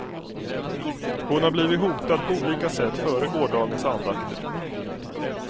Hon har blivit hotad på olika sätt före gårdagens andakter.